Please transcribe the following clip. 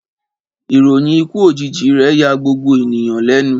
Ìròyìn ikú òjijì rè ya gbogbo ènìyàn lénu